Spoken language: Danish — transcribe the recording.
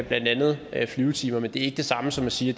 blandt andet flyvetimer men det er ikke det samme som at sige